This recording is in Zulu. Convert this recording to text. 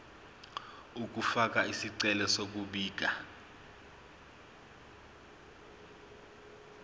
ukufaka isicelo sokubika